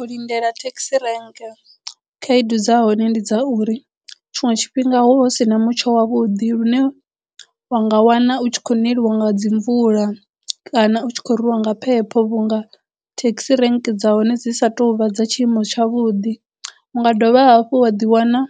U lindela thekhisi rank khaedu dza hone ndi dza uri tshiṅwe tshifhinga hu vha hu si na mutsho wa vhuḓi lune wa nga wana u tshi khou neliwa nga dzi mvula kana u tshi khou rwiwa nga phepho vhunga thekhisi rank dza hone dzi sa tou vha dza tshiimo tsha vhuḓi unga dovha hafhu wa ḓi wana